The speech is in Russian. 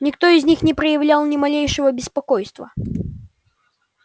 никто из них не проявлял ни малейшего беспокойства